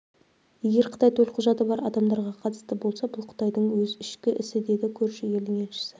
егер қытай төлқұжаты бар адамдарға қатысты болса бұл қытайдың өз ішкі ісі деді көрші елдің елшісі